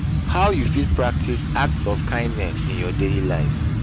how you fit practice acts of kindness in your daily life?